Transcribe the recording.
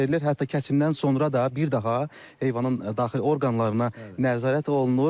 Hətta kəsimdən sonra da bir daha heyvanın daxili orqanlarına nəzarət olunur.